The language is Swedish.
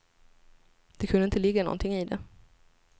Det kunde inte ligga någonting i det.